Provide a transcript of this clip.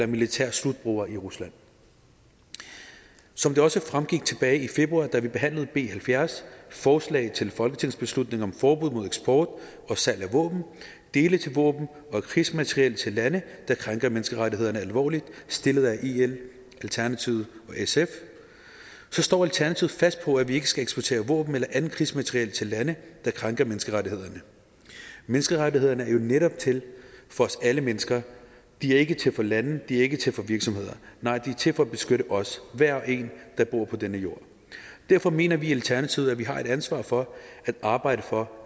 militære slutbrugere i rusland som det også fremgik tilbage i februar da vi behandlede b halvfjerds forslag til folketingsbeslutning om forbud mod eksport og salg af våben dele til våben og krigsmateriel til lande der krænker menneskerettighederne alvorligt stillet af el alternativet og sf står alternativet fast på at vi ikke skal eksportere våben eller andet krigsmateriel til lande der krænker menneskerettighederne menneskerettighederne er jo netop til for alle mennesker og de er ikke til for lande de er ikke til for virksomheder nej de er til for at beskytte os hver og en der bor på denne jord derfor mener vi i alternativet at vi har et ansvar for at arbejde for